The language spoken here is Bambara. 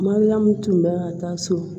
Mariyamu tun bɛ ka taa so